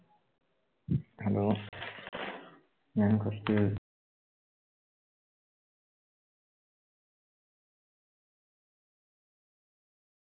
hello ഞാൻ കൊർച്